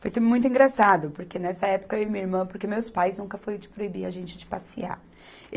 Foi tudo muito engraçado, porque nessa época eu e minha irmã, porque meus pais nunca foram proibir a gente de passear.